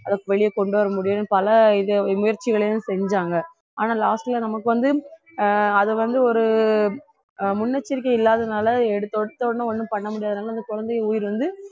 வெளியே கொண்டு வர முடியும்ன்னு பல இது முயற்சிகளையும் செஞ்சாங்க ஆனா last ல நமக்கு வந்து ஆஹ் அதை வந்து ஒரு ஆஹ் முன்னெச்சரிக்கை இல்லாததுனால எடுத்த உடனே எடுத்த உடனே ஒண்ணும் பண்ண முடியாதனால அந்த குழந்தைங்க உயிர் வந்து